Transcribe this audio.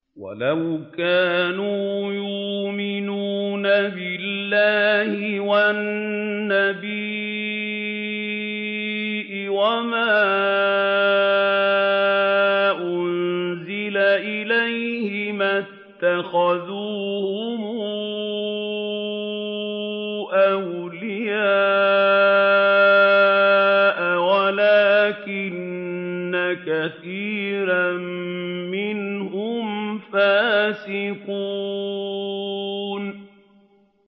وَلَوْ كَانُوا يُؤْمِنُونَ بِاللَّهِ وَالنَّبِيِّ وَمَا أُنزِلَ إِلَيْهِ مَا اتَّخَذُوهُمْ أَوْلِيَاءَ وَلَٰكِنَّ كَثِيرًا مِّنْهُمْ فَاسِقُونَ